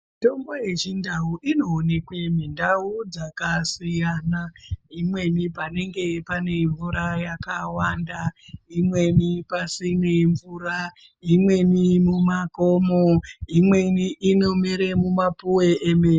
Mitombo yechindau inooneka mundau dzakasiyana. Imweni panenge pane mvura yakawanda. Imweni pasine mvura. Imweni mumakomo. Imweni inomera mumapuwe emene.